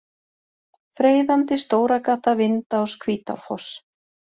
Freyðandi, Stóragata, Vindás, Hvítárfoss